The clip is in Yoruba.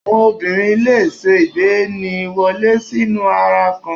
Àwọn obìnrin le è se ìgbaniwọlé sínú ara kan